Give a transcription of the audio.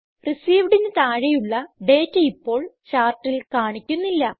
Receivedന് താഴെയുള്ള ഡേറ്റ ഇപ്പോൾ ചാർട്ടിൽ കാണിക്കുന്നില്ല